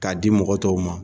Ka di mɔgɔ tɔw ma.